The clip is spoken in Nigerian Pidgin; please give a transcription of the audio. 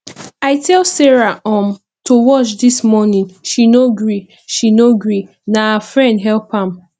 i tell sara um to watch dis morning she no gree she no gree na her friend help am